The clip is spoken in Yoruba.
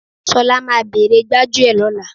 Ṣọlá máa bere gbájúẹ̀ lóla